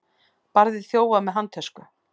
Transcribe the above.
Barði þjófa með handtösku